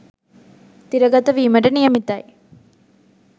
තිරගත වීමට නියමිතයි..